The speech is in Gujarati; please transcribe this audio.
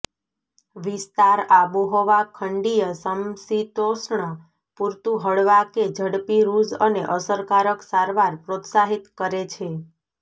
વિસ્તાર આબોહવા ખંડીય સમશીતોષ્ણ પૂરતું હળવા કે ઝડપી રૂઝ અને અસરકારક સારવાર પ્રોત્સાહિત કરે છે